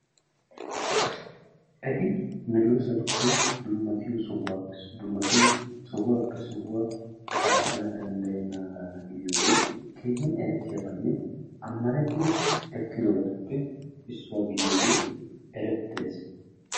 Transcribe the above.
Eti meedosatuppe dummatiyoo sohuwaa sohuwaappe sohuwaa qaaxxana danddayenaaga gidiyoogee keehinerettiyaabanne ammanettidi ekkidobatuppe issuwaa gidiyoogee erettees.